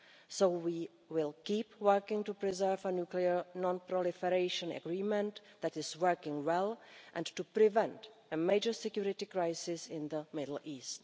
So we will keep working to preserve a nuclear non proliferation agreement that is working well, and to prevent a major security crisis in the Middle East.